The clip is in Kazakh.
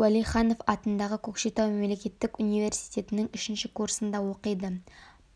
уәлиханов атындағы көкшетау мемлекеттік университетінің үшінші курсында оқиды